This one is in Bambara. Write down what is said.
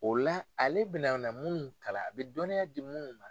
O la ale bɛna na munnu kalan a bɛ dɔnniya di munnu ma.